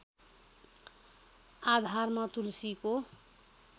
आधारमा तुलसीको